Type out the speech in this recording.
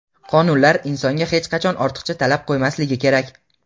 qonunlar insonga hech qachon ortiqcha talab qo‘ymasligi kerak.